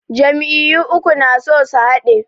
Jam'iyyu uku na so su haɗe.